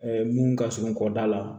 mun ka surun kɔda la